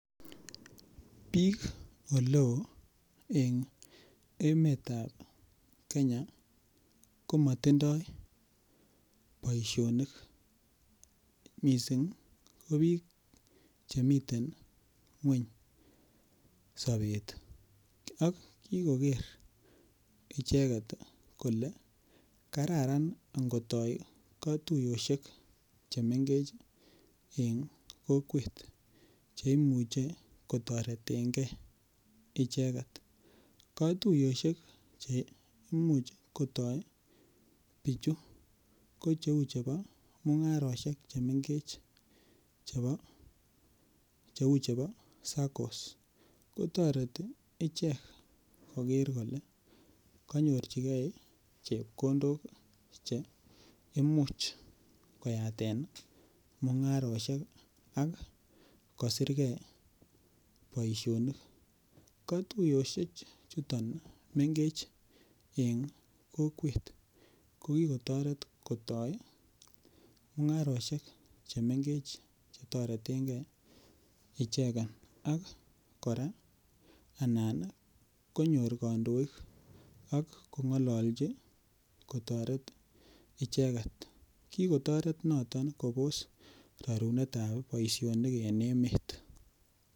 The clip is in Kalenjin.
Biik oleo en emetab kenya komotindoi boisionik missing ko biik chemiten ngweny sobet akikoker icheket kole kararan ngotoo katuiyosiek chemengech en kokwet cheimuch kotoretengee icheket katuiyosiek cheimuch kotoo bichu ko cheu chebo mung'arosiek chemengech cheu chebo SACCOs kotoreti ichek koker kole konyorchike chepkondok cheimuch koyaten mung'arosiek ak kosirke boisionik, katuiyosie chuton mengech en kokwet kokikotoret kotoi mung'arosiek chemengech chetoretengen icheken ak kora anan konyor kandoik ak kong'olochi kotoret icheket kikotoret noton kobos rarunetab boisionik en emet.